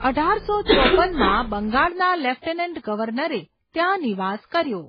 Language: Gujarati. અઢારસો ચોપનમાં બંગાળના લેફ્ટનન્ટ ગવર્નરે ત્યાં નિવાસ કર્યો.